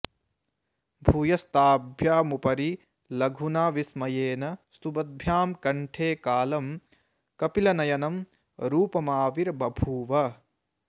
भूयस्ताभ्यामुपरि लघुना विस्मयेन स्तुवद्भ्यां कण्ठे कालं कपिलनयनं रूपमाविर्बभूव